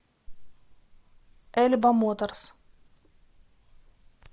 эльба моторс